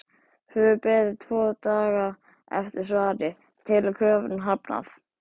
Hefur beðið tvo daga eftir svari- telur kröfunum hafnað!